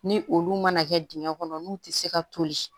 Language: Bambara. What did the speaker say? Ni olu mana kɛ dingɛ kɔnɔ n'u tɛ se ka toli